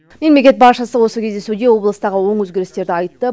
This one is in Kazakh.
мемлекет басшысы осы кездесуде облыстағы оң өзгерістерді айтты